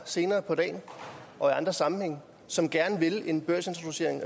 senere på dagen og i andre sammenhænge som gerne vil have en børsintroducering